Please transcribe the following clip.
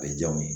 A bɛ diya n ye